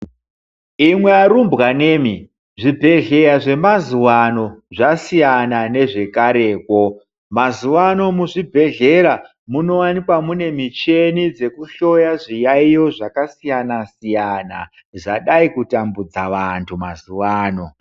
Imwi arumbwanemwi zvibhedhleya zvemazuwa ano zvasiyana nezvekarekwo mazuwa ano zvibhedhlera munowanikwa mune micheni dzekuhloya zviyayiyo zvakasiyana siyana zvadai kutambudza vanthu mazuwa ano.